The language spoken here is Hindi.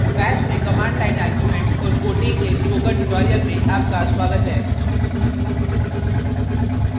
bash में command line arguments और quoting के spoken tutorial में आपका स्वागत है